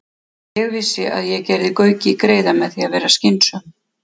. Ég vissi að ég gerði Gauki greiða með því að vera skynsöm.